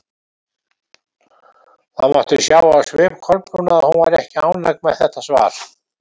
Það mátti sjá á svip Kolbrúnar að hún var ekki ánægð með þetta svar.